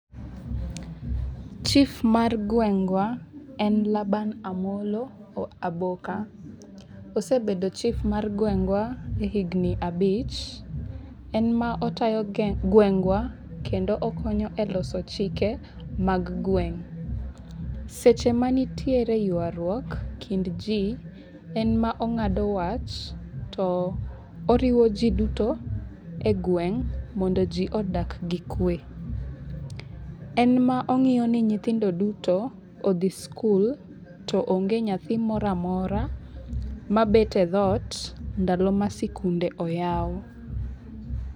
Chif mar gwengwa en Laban Amolo Aboka. Osebedo chif mar gwengwa higni abich)5). En ma otayo gwengwa kendo okonyo e loso chike mag gweng'. Seche ma nitiere ywaruok e kind ji to en ema ong'ado wach. To riwo ji duto e gweng' mondo ji odak gi kwe. En ma ong'iyo ni nyithindo duto odhi skul to onge nyathi moro amora mabet e dhot ndalo ma sikunde oyaw.